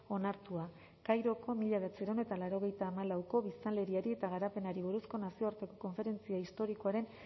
onartua kairoko mila bederatziehun eta laurogeita hamalauko biztanleriari eta garapenari buruzko nazioarteko konferentzia historikoaren